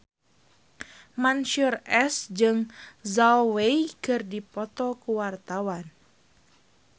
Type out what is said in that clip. Mansyur S jeung Zhao Wei keur dipoto ku wartawan